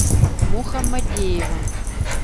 мухаммадеева